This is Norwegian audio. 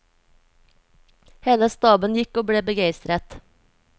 Hele staben gikk og ble begeistret.